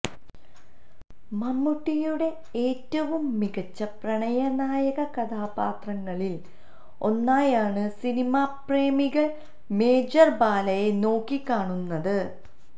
മമ്മൂട്ടിയുടെ ഏറ്റവും മികച്ച പ്രണയനായക കഥാപാത്രങ്ങളിൽ ഒന്നായാണ് സിനിമാപ്രേമികൾ മേജർ ബാലയെ നോക്കി കാണുന്നത്